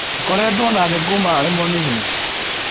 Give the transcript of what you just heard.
Tũkoretwo nake kuuma arĩ mũnini